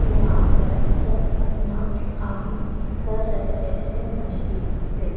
यहां पर सब अपना काम कर रहे है मशीन से।